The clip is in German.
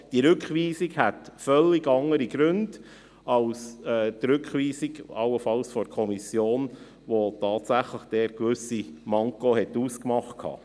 Diese Rückweisung hätte also völlig andere Gründe als jene der Kommission, welche tatsächlich gewisse Mankos ausgemacht hat.